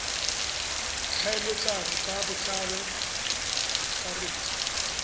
tlhaeletsano ka botlalo go akaretsa